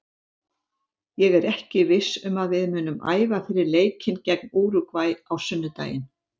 Ég er ekki viss um að við munum æfa fyrir leikinn gegn Úrúgvæ á sunnudaginn.